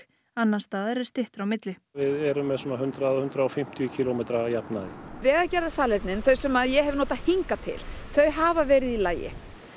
annars staðar er styttra á milli við erum með svona hundrað hundrað og fimmtíu kílómetra að jafnaði vegagerðarsalernin þau sem ég hef notað hingað til þau hafa verið í lagi